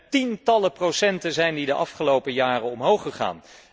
Met tientallen procenten zijn die de afgelopen jaren omhoog gegaan.